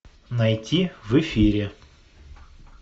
найти в эфире